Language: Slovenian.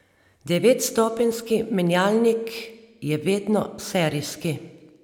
Devetstopenjski menjalnik je vedno serijski.